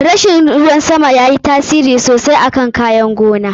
Rashin ruwan sama yayi tasiri mummuna akan kayan gona.